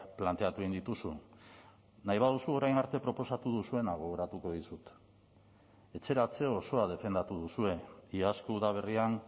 planteatu egin dituzu nahi baduzu orain arte proposatu duzuena gogoratuko dizut etxeratze osoa defendatu duzue iazko udaberrian